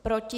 Proti?